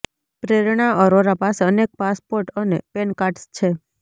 પ્રેરણા અરોરા પાસે અનેક પાસપોર્ટ અને પેનકાર્ડ્સ છે